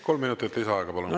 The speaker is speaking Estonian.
Kolm minutit lisaaega, palun!